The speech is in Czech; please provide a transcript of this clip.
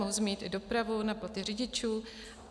Mohu zmínit i dopravu, na platy řidičů.